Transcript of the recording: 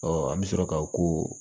an bɛ sɔrɔ ka o